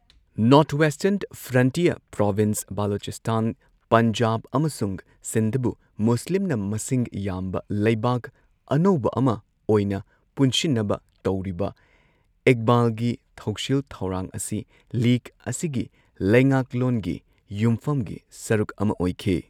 North western frontier province, Baluchistan, Punjab ꯑꯃꯁꯨꯡ ꯁꯤꯟꯗꯕꯨ ꯃꯨꯁꯂꯤꯝꯅ ꯃꯁꯤꯡ ꯌꯥꯝꯕ ꯂꯩꯕꯥꯛ ꯑꯅꯧꯕ ꯑꯃ ꯑꯣꯏꯅ ꯄꯨꯟꯁꯤꯟꯅꯕ ꯇꯧꯔꯤꯕ ꯏꯛꯕꯥꯜꯒꯤ ꯊꯧꯁꯤꯜ ꯊꯧꯔꯥꯡ ꯑꯁꯤ ꯂꯤꯒ ꯑꯁꯤꯒꯤ ꯂꯩꯉꯥꯛꯂꯣꯟꯒꯤ ꯌꯨꯝꯐꯝꯒꯤ ꯁꯔꯨꯛ ꯑꯃ ꯑꯣꯏꯈꯤ꯫